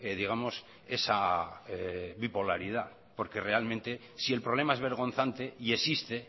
digamos esa bipolaridad porque realmente si el problema es vergonzante y existe